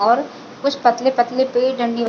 और कुछ पतले-पतले पेड़ डंडियों--